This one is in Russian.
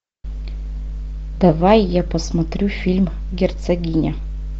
давай я посмотрю фильм герцогиня